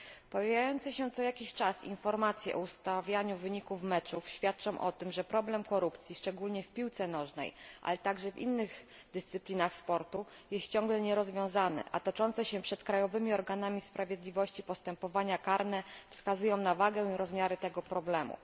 Pojawiające się co jakiś czas informacje o ustawianiu wyników meczów świadczą o tym, że problem korupcji, szczególnie w piłce nożnej, ale także w innych dyscyplinach sportu, jest ciągle nierozwiązany, a toczące się przed krajowymi organami sprawiedliwości postępowania karne wskazują na wagę i rozmiary tego problemu.